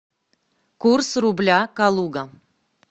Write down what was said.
курс рубля калуга